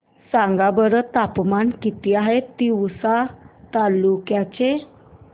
सांगा बरं तापमान किती आहे तिवसा तालुक्या चे